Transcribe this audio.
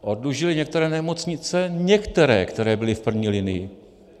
Oddlužili některé nemocnice - některé, které byly v první linii.